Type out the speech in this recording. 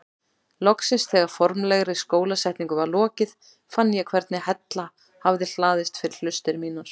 Loksins þegar formlegri skólasetningu var lokið fann ég hvernig hella hafði hlaðist fyrir hlustir mínar.